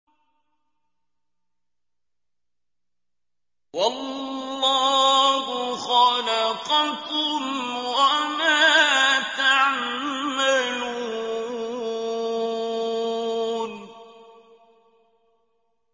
وَاللَّهُ خَلَقَكُمْ وَمَا تَعْمَلُونَ